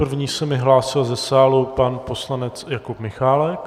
První se mi hlásil ze sálu pan poslanec Jakub Michálek.